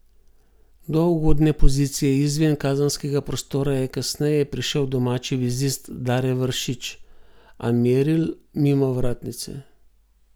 Do ugodne pozicije izven kazenskega prostora je kasneje prišel domači vezist Dare Vršič, a meril mimo vratnice.